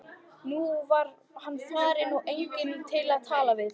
Nú var hann farinn og enginn til að tala við.